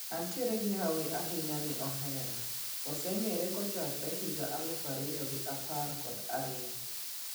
Antiere gi hawi ahinya ni ohera, waseng`ere kochakre higa aluf ariyo gi apar kod ariyo.